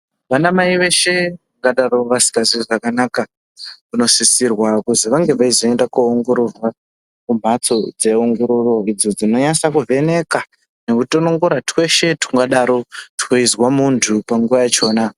Vanamai veshe vangadaro vasingazwi zvakanaka vanosisirwa kuzi vange veizoenda kuoongororwa kumbatso dzeongororo idzo dzinonyatse kuvheneka nekutonongora tweshe tungadaro tweizwa muntu panguva yachona.